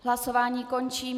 Hlasování končím.